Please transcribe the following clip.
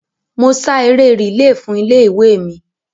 Mo ṣá eré rìílè fún ilé-ìwé mi